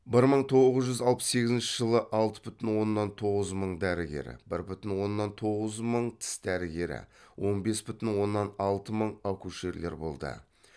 бір мың тоғыз жүз алпыс сегізінші жылы алты бүтін оннан тоғыз мың дәрігер бір бүтін онанн тоғыз мың тіс дәрігері он бес бүтін оннан алты мың акушерлер болды